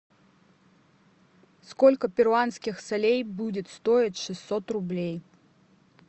сколько перуанских солей будет стоить шестьсот рублей